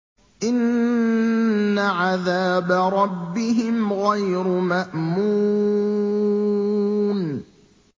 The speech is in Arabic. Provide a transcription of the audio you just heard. إِنَّ عَذَابَ رَبِّهِمْ غَيْرُ مَأْمُونٍ